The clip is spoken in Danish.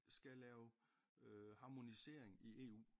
Skal lave harmonisering i EU